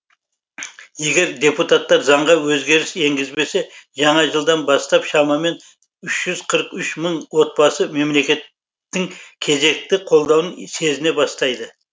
егер депутаттар заңға өзгеріс енгізбесе жаңа жылдан бастап шамамен үш жүз қырық үш мың отбасы мемлекеттің кезекті қолдауын сезіне бастайды